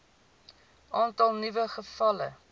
aantal nuwe gevalle